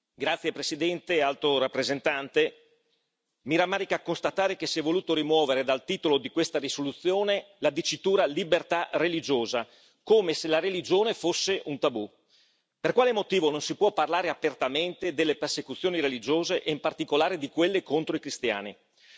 Signor Presidente, onorevoli colleghi, signora Alto rappresentante, mi rammarica constatare che si è voluto rimuovere dal titolo di questa risoluzione la dicitura libertà religiosa, come se la religione fosse un tabù. Per quale motivo non si può parlare apertamente delle persecuzioni religiose e, in particolare, di quelle contro i cristiani?